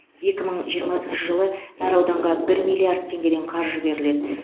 екі мың жиырмасыншы жылы әр ауданға бір миллиард теңгеден қаржы беріледі